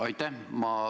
Aitäh!